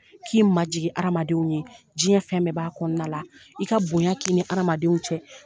K'i ma jigin hamadenw ye. Diɲɛ fɛn bɛɛ b'a kɔnɔna la.I ka bonya k'i ni adamadenw cɛ.